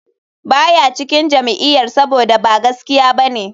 Ba ya cikin jam'iyyar saboda ba gaskiya ba ne,